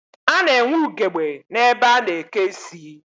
A na-enwe ugegbe n'ebe a na-eke isi